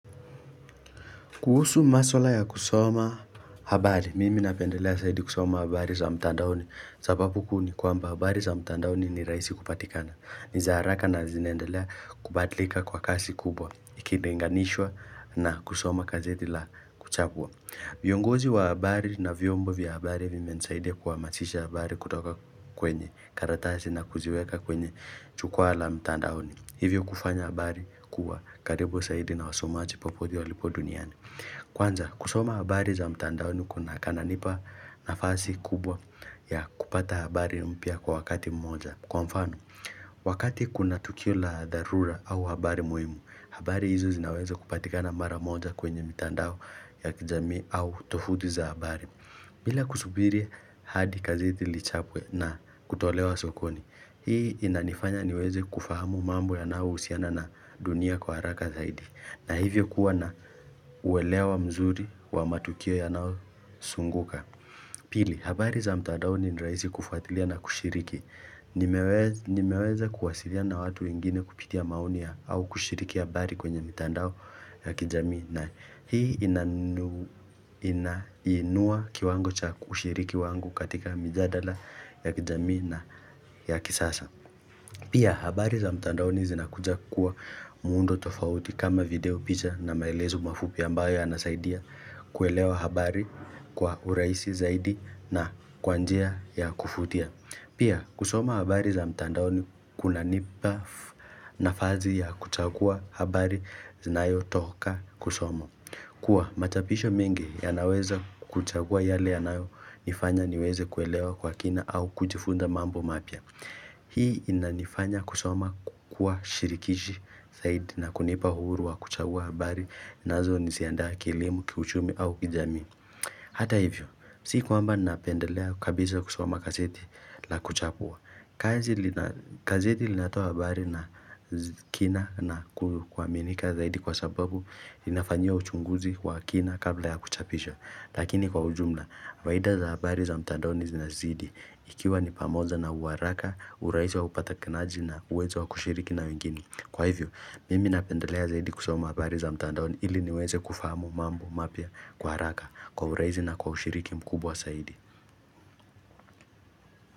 Kuhusu maswala ya kusoma habari, mimi napendelea zaidi kusoma habari za mtandaoni. Sababu kuu ni kwamba habari za mtandaoni ni rahisi kupatikana. Ni za haraka na zinaendelea kubadilika kwa kasi kubwa, ikilinganishwa na kusoma gazeti la kuchapwa. Viongozi wa habari na vyombo vya habari vimenisaidia kuhamasisha habari kutoka kwenye karatasi na kuziweka kwenye jukwaa la mtandaoni. Hivyo kufanya habari kuwa karibu zaidi na wasomaji popote walipo duniani. Kwanza, kusoma habari za mtandaoni kananipa nafasi kubwa ya kupata habari mpya kwa wakati mmoja. Kwa mfano, wakati kuna tukio la dharura au habari muhimu, habari hizo zinaweza kupatika mara moja kwenye mitandao ya kijamii au tofuti za habari. Bila kusubiri hadi gazeti lichapwe na kutolewa sokoni, hii inanifanya niweze kufahamu mambo yanayohusiana na dunia kwa haraka zaidi. Na hivyo kuwa na uelewa mzuri wa matukio yanayosunguka Pili, habari za mtandaoni ni rahisi kufuatilia na kushiriki nimeweza kuwasiliana na watu wengine kupitia maoni ya au kushiriki habari kwenye mitandao ya kijamii na hii inainua kiwango cha kushiriki wangu katika mijadala ya kijamii na ya kisasa Pia, habari za mtandaoni zinakuja kuwa muundo tofauti kama video picha na maelezo mafupi ambayo yanasaidia kuelewa habari kwa urahisi zaidi na kwa njia ya kuvutia. Pia, kusoma habari za mtandaoni kunanipa nafasi ya kuchagua habari zinayotoka kusoma. Kua, machapisho mengi yanaweza kuchagua yale yanayonifanya niweze kuelewa kwa kina au kujifunza mambo mapya. Hii inanifanya kusoma kukua shirikishi zaidi na kunipa huru wa kuchagua habari nazoziandaa kielimu, kiuchumi au kijamii Hata hivyo, si kwamba napendelea kabisa kusoma gazeti la kuchagua. Kazi gazeti linatoa habari na kina na kuaminika zaidi kwa sababu inafanyiwa uchunguzi wa kina kabla ya kuchapisha. Lakini kwa ujumla, faida za habari za mtandaoni zinazidi ikiwa ni pamoja na uwaraka, urahisi wa upatikanaji na uwezo wa kushiriki na wengine. Kwa hivyo, mimi napendelea zaidi kusoma habari za mtandaoni ili niweze kufahamu mambo mapya kwa haraka kwa urahisi na kwa ushiriki mkubwa zaidi.